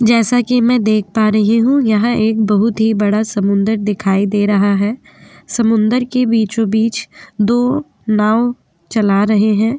जैसा कि मैं देख पा रही हूं यहां एक बोहोत ही बड़ा समुंदर दिखाई दे रहा है है। समुंदर के बीचो-बीच दो नाव चला रहे हैं।